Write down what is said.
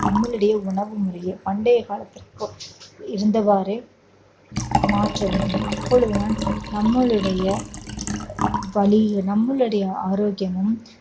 நம்மளுடைய உணவு முறையை பண்டைய காலத்திற்கு இருந்தவாறே மாற்ற வேண்டும் அப்பொழுதுதான் நம்மளுடைய வலி நம்மளுடைய ஆரோக்கியமும்